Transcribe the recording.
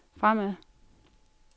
fremad